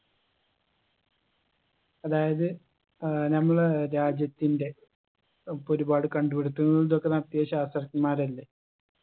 അതായത് ഏർ നമ്മളെ രാജ്യത്തിൻറെ നമുക്കൊരുപാട് കണ്ടുപിടിത്തങ്ങൾ ഇതൊക്കെ നടത്തിയ ശാസ്ത്രജ്ഞന്മാരല്ലേ